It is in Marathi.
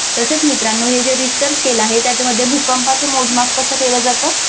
तसेच मित्रांनो हे जे रिश्टर skill आहे त्याच्यामध्ये भूकंपाचे मोजमाप कसं केलं जातं.